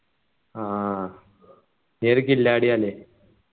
ആഹ് ഈ ഒരു കില്ലാഡിയാ അല്ലെ